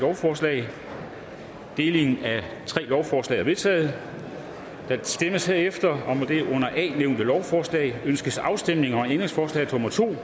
lovforslaget deles i tre lovforslag er vedtaget der stemmes herefter om det under a nævnte lovforslag ønskes afstemning om ændringsforslag nummer to